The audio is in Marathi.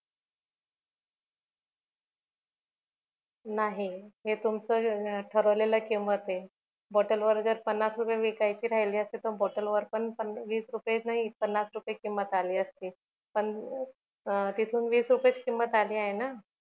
नाही हे तुमच ठरवलेलं किंमताय बॉटल वर जर पन्नास रुपय विकायची राहिली असती तर बॉटल वर पण वीस रुपय नाही पन्नास रुपय किंमत आली असती पण तिथून वीस रुपयाच किंमत आलीय ना